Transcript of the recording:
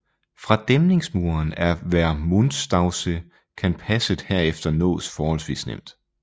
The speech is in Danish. Fra dæmningsmuren af Vermuntstausee kan passet herefter nås forholdsvis nemt